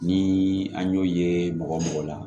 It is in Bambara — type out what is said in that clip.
Ni an y'o ye mɔgɔ mɔgɔ la